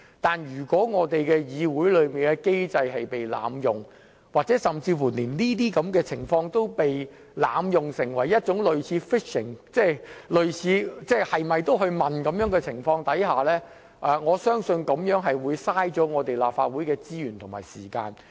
但如果議會的機制被濫用，甚或出現類似 "fishing" 的濫用情況，即類似胡亂要求提供資料的情況下，我相信這樣會浪費立法會的資源和時間。